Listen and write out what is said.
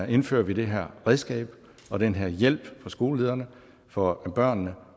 indfører vi det her redskab og den her hjælp for skolelederne for børnene